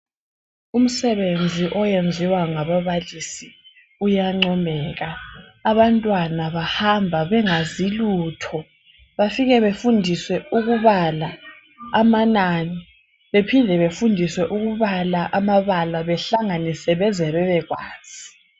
Umsebenzi oyenziwa ngababalisi uyancomeka. Abantwana bahamba bengazi lutho bafike befundiswe ukubala amanani. Bephinde befundiswe ukubala amabala behlanganise beze bebekwazi.